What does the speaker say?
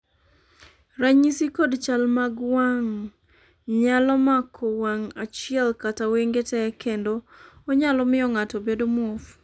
ranyisi kod chal mag wang' nyalo mako wang' achiel kata wenge tee kendo onyalo miyo ng'ato bedo muofu